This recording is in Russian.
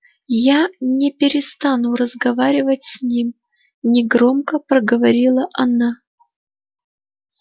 я не перестану разговаривать с ним негромко проговорила она